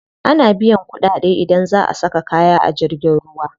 Ana biyan kuɗaɗe idan za a saka kaya a jirgin ruwa.